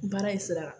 Baara in sira kan